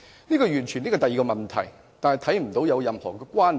這完全是另一個問題，我看不到兩者有任何關連。